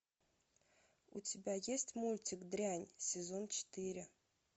у тебя есть мультик дрянь сезон четыре